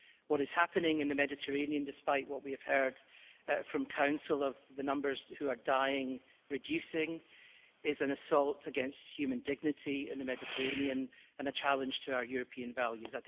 What is happening in the Mediterranean, despite what we have heard from the Council about the numbers who are dying reducing, is an assault against human dignity in the Mediterranean and a challenge to our European values.